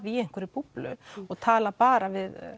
í einhverri búblu og tala bara við